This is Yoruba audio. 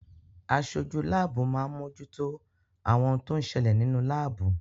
Aṣojú láàbù máa ń mojútó àwọn ohun tó ń ṣẹlẹ̀ nínú láàbù.